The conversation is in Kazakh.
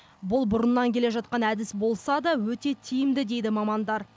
бұл бұрыннан келе жатқан әдіс болса да өте тиімді дейді мамандар